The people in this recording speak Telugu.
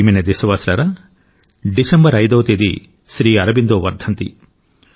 నా ప్రియమైన దేశవాసులారా డిసెంబర్ 5వ తేదీ శ్రీ అరబిందో వర్ధంతి